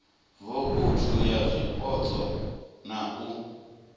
vouthu ya zwipotso na u